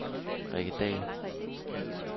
Rikke Dall